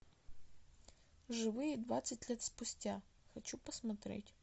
живые двадцать лет спустя хочу посмотреть